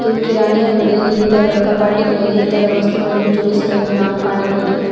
ಕಿರಾಣಿ ಅಂಗಡಿಯಲ್ಲಿ ಇತರ ಕಪಾಟಿಗಳಲ್ಲಿ ಇತರ ವಸ್ತುಗಳನ್ನು ಜೋಡಿಸುವುದನ್ನು ನಾವು ಕಾಣಬಹುದು.